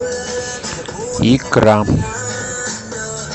икра